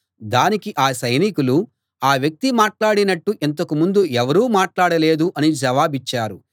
దానికి ఆ సైనికులు ఆ వ్యక్తి మాట్లాడినట్టు ఇంతకు ముందు ఎవరూ మాట్లాడలేదు అని జవాబిచ్చారు